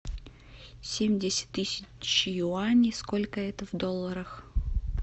семьдесят тысяч юаней сколько это в долларах